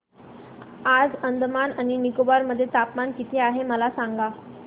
आज अंदमान आणि निकोबार मध्ये तापमान किती आहे मला सांगा